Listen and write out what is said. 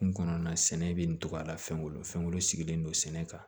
Kun kɔnɔna sɛnɛ bɛ ntugu a la fɛn wolo fɛn sigilen don sɛnɛ kan